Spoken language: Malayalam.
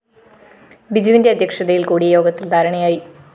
ബിജുവിന്റെ അധ്യക്ഷതയില്‍ കൂടിയ യോഗത്തില്‍ ധാരണയായി